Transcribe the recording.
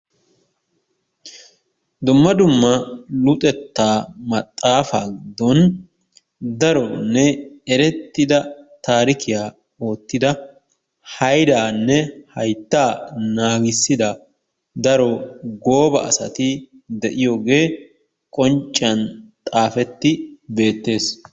Dumma dumma luxetta maxafaa giddon daronne erettida tarikiyaa ottiddaa haydanne, hayttaa nagisidaa daro goba asatti de'iyogee qoncciyaan xafetti bettees.